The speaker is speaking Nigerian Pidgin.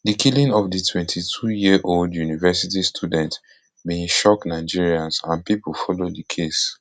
di killing of the twenty-twoyearold university student bin shock nigerians and pipo follow di case